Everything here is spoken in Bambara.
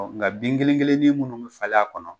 Ɔ nka bin kelen kelen nin mun bɛ falen a kɔnɔ